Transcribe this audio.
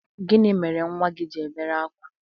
Gịnị mere nnwa gị ji èbēré akwa?